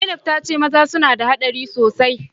Zainab ta ce maza suna da hadari sosai